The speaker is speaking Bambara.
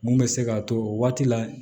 Mun bɛ se k'a to o waati la